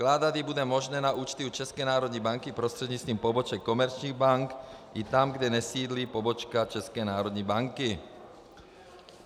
Vkládat ji bude možné na účty u České národní banky prostřednictvím poboček komerčních bank i tam, kde nesídlí pobočka České národní banky.